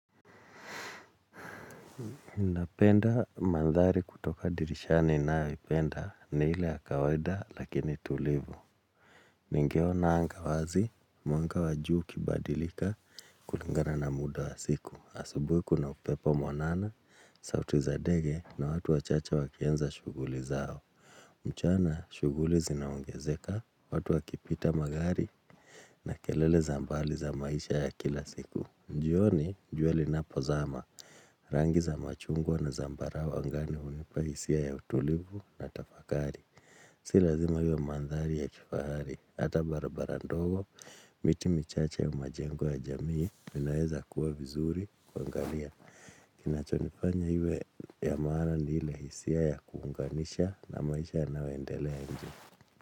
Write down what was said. Napenda mandhari kutoka dirishani ninayoipenda ni ile ya kawaida lakini tulivu Ningeona anga wazi mwanga wajuu kibadilika kulingana na muda wa siku asubuhi kuna upepo mwanana sauti za ndege na watu wachache wakianza shughuli zao mchana shughuli zinaongezeka watu wakipita magari na kelele za mbali za maisha ya kila siku jioni jua linapozama Rangi za machungwa na zambarao angani unipa hisia ya utulivu na tafakari Si lazima iwe mandhari ya kifahari Hata barabara ndogo, miti michache ya majengo ya jamii inaeza kuwa vizuri kuangalia Kinachonifanya iwe ya maana ni ile hisia ya kuunganisha na maisha yanayoendelea nje.